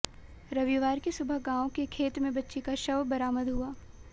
रविवार की सुबह गांव के खेत में बच्ची का शव बरामद हुआ